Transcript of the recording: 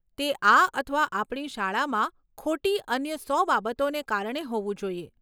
તે આ અથવા આપણી શાળામાં ખોટી અન્ય સો બાબતોને કારણે હોવું જોઈએ.